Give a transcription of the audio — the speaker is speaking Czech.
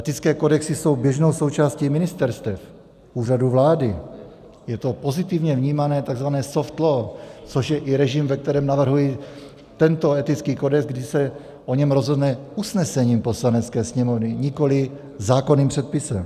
Etické kodexy jsou běžnou součástí ministerstev, Úřadu vlády, je to pozitivně vnímané tzv. soft law, což je i režim, ve kterém navrhuji tento etický kodex, kdy se o něm rozhodne usnesením Poslanecké sněmovny, nikoliv zákonným předpisem.